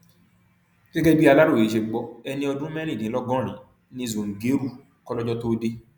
gẹgẹ bí aláròye ṣe gbọ ẹni ọdún mẹrìndínlọgọrin ni zúngérù kólọjọ tóo dé